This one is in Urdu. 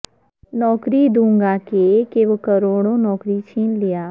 نوکری دوں گا کہ کے وہ کروڑوں نوکری چھین لیا